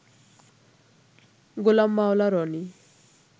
Golam Maula Roni